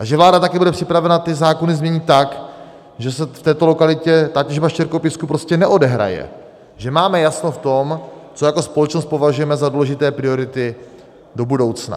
A že vláda také bude připravena ty zákony změnit tak, že se v této lokalitě ta těžba štěrkopísku prostě neodehraje, že máme jasno v tom, co jako společnost považujeme za důležité priority do budoucna.